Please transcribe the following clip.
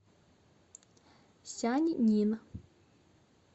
сяньнин